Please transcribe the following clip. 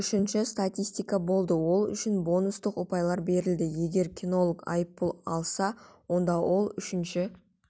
үшінші статистика болды ол үшін бонустық ұпайлар берілді егер кинолог айыппұл алса онда ол үшінші